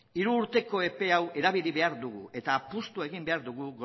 hiru urteko epe hau erabili behar dugu eta apustua egin behar dugu